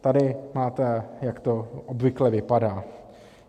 Tady máte, jak to obvykle vypadá.